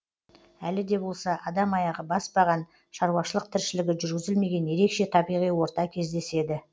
әлі де болса адам аяғы баспаған шаруашылық тіршілігі жүргізілмеген ерекше табиғи орта кездеседі